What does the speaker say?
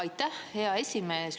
Aitäh, hea esimees!